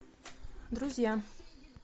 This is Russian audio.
друзья